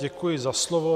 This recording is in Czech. Děkuji za slovo.